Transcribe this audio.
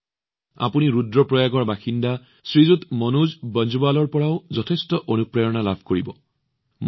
আপোনালোকে ৰুদ্ৰপ্ৰয়াগৰ বাসিন্দা শ্ৰীমান মনোজ বনজৱালজীৰ পৰাও যথেষ্ট অনুপ্ৰেৰণা লাভ কৰিব